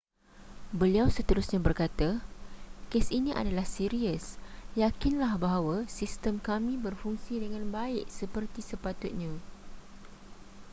beliau seterusnya berkata kes ini adalah serius yakinlah bahawa sistem kami berfungsi dengan baik seperti sepatutnya